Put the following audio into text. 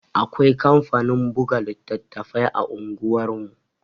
Akwai kamfanin buga littattafai a unguwar mu